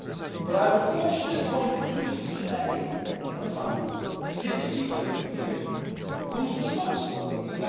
But I would caution in drawing conclusions today, as some appear to be doing here, about who is responsible for this.